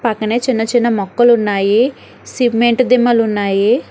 పక్కనే చిన్న చిన్న మొక్కలు ఉన్నాయి సిమెంట్ దిమ్మలు ఉన్నాయి.